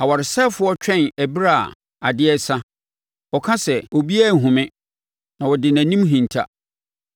Ɔwaresɛefoɔ twɛn ɛberɛ a adeɛ resa; ɔka sɛ, ‘obiara renhunu me,’ na ɔde nʼanim hinta.